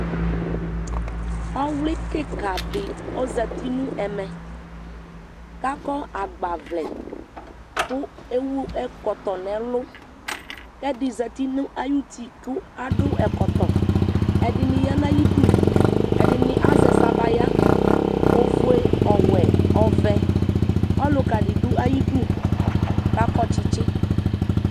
awli keka di ozati n'ɛmɛ k'akɔ agbavlɛ kò ewu ɛkɔtɔ n'ɛlu k'ɛdi zati no ayiti k'ado ɛkɔtɔ ɛdini ya n'ayidu ɛdini bi azɛ sabaya ofue ɔwɛ ɔvɛ ɔluka di do ayidu k'akɔ tsitsi